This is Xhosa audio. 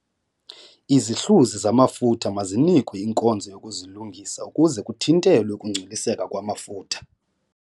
Izihluzi zamafutha mazinikwe inkonzo yokuzilungisa ukuze kuthintelwe ukungcoliseka kwamafutha.